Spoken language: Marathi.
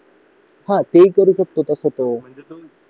हा ते तसं करू शकतो तो